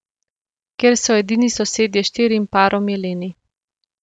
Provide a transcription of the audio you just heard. Kjer so edini sosedje štirim parom jeleni.